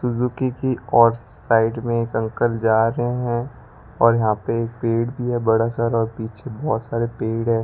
Suzuki की और side में एक अंकल जा रहे हैं और यहां पे एक पेड़ भी है बड़ा सारा और पीछे बहोत सारे पेड़ हैं।